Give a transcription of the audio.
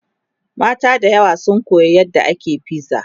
mata da yawa sun Koya yadda ake fiza